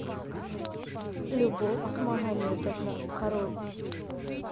любовь магометовна король